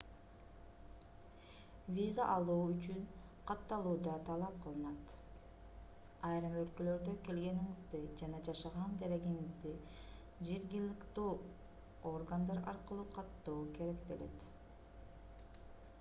виза алуу үчүн катталуу да талап кылынат айрым өлкөлөрдө келгениңизди жана жашаган дарегиңизди жергиликтүү органдар аркылуу каттоо керектелет